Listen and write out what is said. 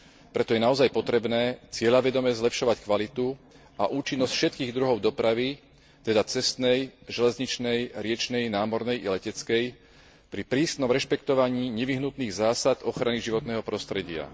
Preto je naozaj potrebné cieľavedome zlepšovať kvalitu a účinnosť všetkých druhov dopravy, teda cestnej, železničnej, riečnej, námornej i leteckej, pri prísnom rešpektovaní nevyhnutých zásad ochrany životného prostredia.